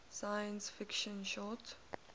science fiction short